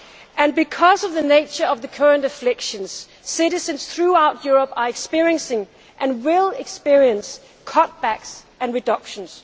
And, because of the nature of the current afflictions, citizens throughout Europe are experiencing, and will experience, cutbacks and reductions.